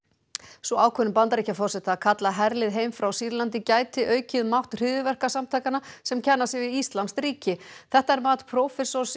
sú ákvörðun Bandaríkjaforseta að kalla herlið heim frá Sýrlandi gæti aukið mátt hryðjuverkasamtakanna sem kenna sig við íslamskt ríki þetta er mat prófessors